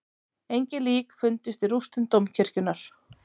Engin lík fundust í rústum dómkirkjunnar